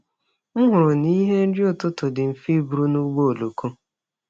M hụrụ na ihe nri ụtụtụ dị mfe iburu n’ụgbọ oloko.